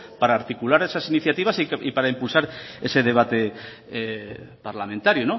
para articular esas iniciativas y para impulsar ese debate parlamentario